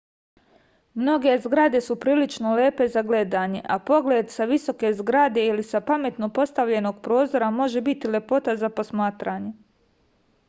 mnoge zgrade su prilično lepe za gledanje a pogled sa visoke zgrade ili sa pametno postavljenog prozora može biti lepota za posmaranje